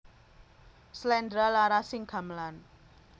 Slendra larasing gamelan